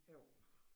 Jo